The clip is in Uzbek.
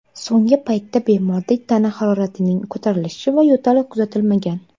So‘nggi paytda bemorda tana haroratining ko‘tarilishi va yo‘tal kuzatilmagan.